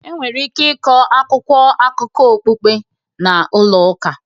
Enwere ike ịkọ akwụkwọ akụkọ okpukpe na ụlọ ụka